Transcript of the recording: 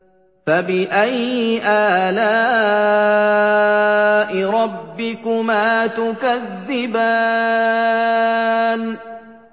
فَبِأَيِّ آلَاءِ رَبِّكُمَا تُكَذِّبَانِ